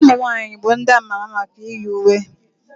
ụmụnwaanyị bụ ndị a ma ama maka iyi uwe